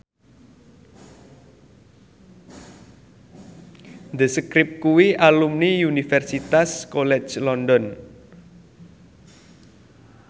The Script kuwi alumni Universitas College London